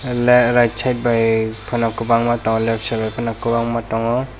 le right side bai pono kobangma tango left side bai pono kobangma tango.